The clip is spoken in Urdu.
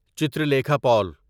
چترلیکھا پول